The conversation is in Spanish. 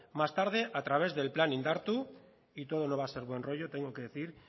más tarde a través del plan indartu y todo no va a ser buen rollo tengo que decir